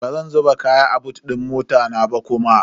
Bazan zuba kaya a bot din mota na ba kuma.